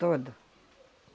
Todo.